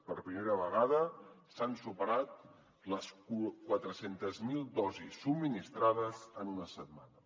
per primera vegada s’han superat les quatre cents miler dosis subministrades en una setmana